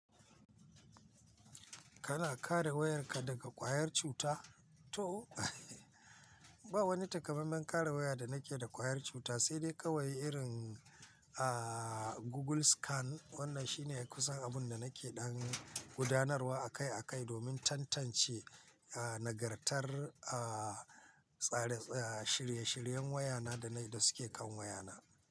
Kana kare wayarka daga ƙwayar cuta to? Ba wani takamaiman kare waya da nake da ƙwayar cuta, sai dai kawai irin, aaah, Google Scan wannan shine kusan abun da nake ɗan gudanarwa akai akai domin tantance, aaah, nagartar, aaah, tsare tsare shirye shiryen wayana da na da suke kan wayana.